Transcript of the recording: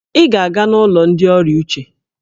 Ị ga-aga n'ụlọ ndị ọrịa uche!